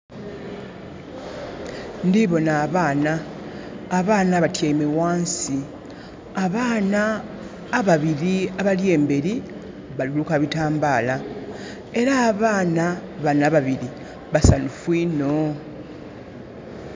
Ndhi bona abaana. Abaana batyaime ghansi. Abaana ababiri abali emberi bali luka bitambala. Era abaana bano ababiri basanhufu inho.